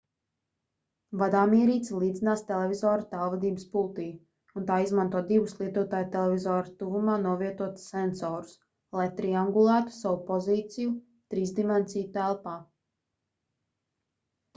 vadāmierīce līdzinās televizora tālvadības pultij un tā izmanto divus lietotāja televizora tuvumā novietotus sensorus lai triangulētu savu pozīciju trīsdimensiju telpā